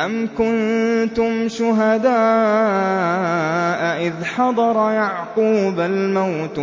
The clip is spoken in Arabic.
أَمْ كُنتُمْ شُهَدَاءَ إِذْ حَضَرَ يَعْقُوبَ الْمَوْتُ